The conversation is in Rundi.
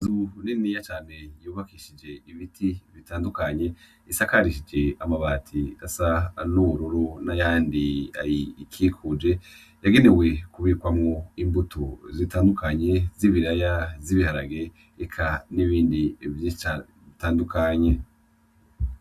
Inzu niniya cane y'ubakishije ibiti ibitandukanye isakarishije amabati asa n'ubururu n'ayandi ayikikuje, yagenewe kubikwamwo imbuto zitandukanye z'ibiraya ,z'ibiharage eka n'ibindi vyishi cane bitandukanye.